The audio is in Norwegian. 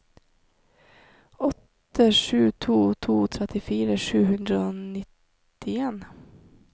åtte sju to to trettifire sju hundre og nittien